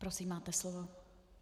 Prosím, máte slovo.